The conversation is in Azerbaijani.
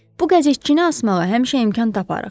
Bu qəzetçini asmağa həmişə imkan taparıq.